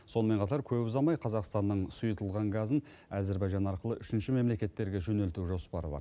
сонымен қатар көп ұзамай қазақстанның сұйытылған газын әзербайжан арқылы үшінші мемлекеттерге жөнелту жоспары бар